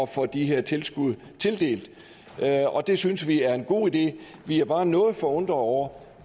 få de her tilskud tildelt og det synes vi er en god idé vi er bare noget forundrede over